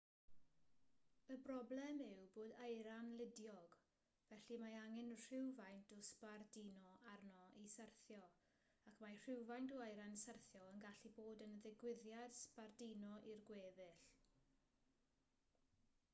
y broblem yw bod eira'n ludiog felly mae angen rhywfaint o sbarduno arno i syrthio ac mae rhywfaint o eira'n syrthio yn gallu bod yn ddigwyddiad sbarduno i'r gweddill